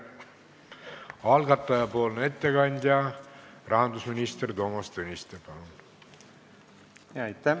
Algataja ettekandja rahandusminister Toomas Tõniste, palun!